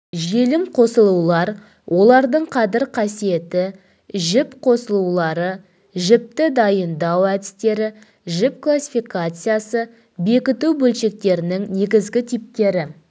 желім қосылулар олардың қадір қасиеті жіп қосылулары жіпті дайындау әдістері жіп классифкациясы бекіту бөлшектерінің негізгі типтері